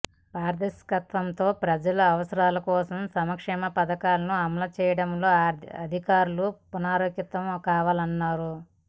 పారదర్శకతతో ప్రజల అవస రాలకోసం సంక్షేమ పథకాలను అమలు చేయడంలో అధికారులు పు నరాంకితం కావాలన్నారు